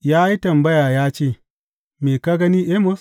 Ya yi tambaya ya ce, Me ka gani Amos?